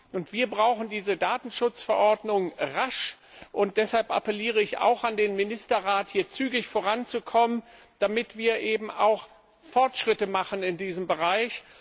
Und wir brauchen diese Datenschutzverordnung rasch, und deshalb appelliere ich auch an den Ministerrat, hier zügig voranzukommen, damit wir eben auch Fortschritte machen in diesem Bereich.